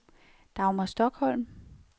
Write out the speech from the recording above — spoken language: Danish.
Dagmar Stokholm